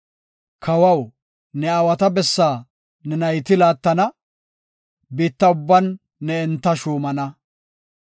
Kawaw, ne aawata bessaa ne nayti laattana; biitta ubban ne enta shuumana.